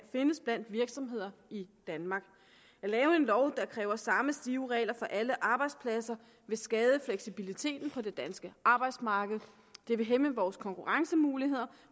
findes blandt virksomheder i danmark at lave en lov der kræver samme stive regler for alle arbejdspladser vil skade fleksibiliteten på det danske arbejdsmarked det vil hæmme vores konkurrencemuligheder